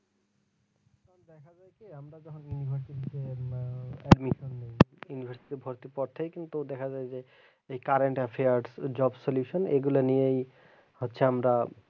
আমরা যখন university তে admission নেই university তে ভর্তি হওয়ার পর থেকেই দেখা যায় যে এই current affairs job solution এইগুলো নিয়েই হচ্ছে আমরা,